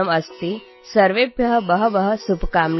ସମସ୍ତଙ୍କୁ ବହୁତ ଶୁଭକାମନା